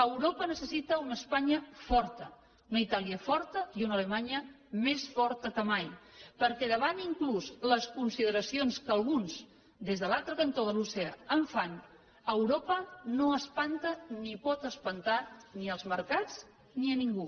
europa necessita una espanya forta una itàlia forta i una alemanya més forta que mai perquè davant inclús de les consideracions que alguns des de l’altre cantó de l’oceà en fan europa no espanta ni pot espantar ni els mercats ni a ningú